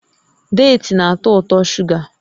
Deeti na-atọ ụtọ shuga